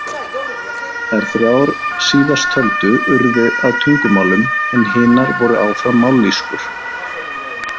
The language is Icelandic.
Þær þrjár síðasttöldu urðu að tungumálum en hinar voru áfram mállýskur.